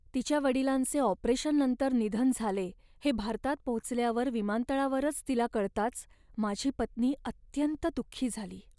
तिच्या वडिलांचे ऑपरेशननंतर निधन झाले हे भारतात पोचल्यावर विमानतळावरच तिला कळताच माझी पत्नी अत्यंत दुःखी झाली.